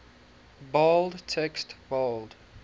bold text bold